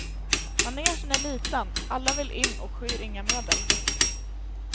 Manegen är liten, alla vill in och skyr inga medel.